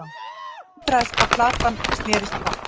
Undraðist hvað platan snerist hratt.